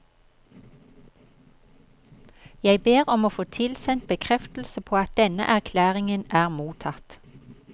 Jeg ber om å få tilsendt bekreftelse på at denne erklæringen er mottatt.